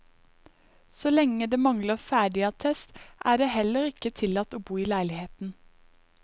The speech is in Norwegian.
Så lenge det mangler ferdigattest, er det heller ikke tillatt å bo i leiligheten.